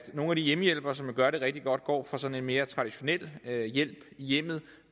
nogle hjemmehjælpere som gør det rigtig godt går fra sådan en mere traditionel hjælp i hjemmet